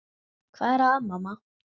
Hvað er að, mamma?